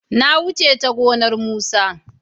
na wuce ya gonan musa